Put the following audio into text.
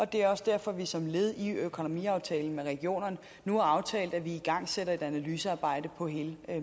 det er også derfor vi som led i økonomiaftalen med regionerne nu har aftalt at vi igangsætter et analysearbejde på hele